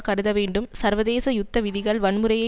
கருத வேண்டும் சர்வதேச யுத்த விதிகள் வன்முறையை